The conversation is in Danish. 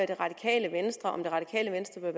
det radikale venstre om det radikale venstre